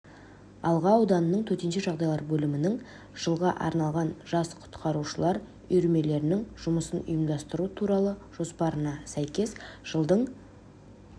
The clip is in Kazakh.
алға ауданының төтенше жағдайлар бөлімінің жылға арналған жас құтқарушылар үйірмелерінің жұмысын ұйымдастыру туралы жоспарына сәйкес жылдың